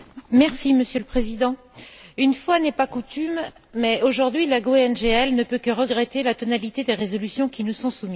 Monsieur le Président, une fois n'est pas coutume, aujourd'hui, la GUE NGL ne peut que regretter la tonalité des résolutions qui nous sont soumises.